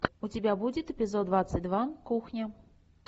у тебя будет эпизод двадцать два кухня